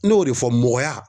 Ne y'o de fɔ mɔgɔya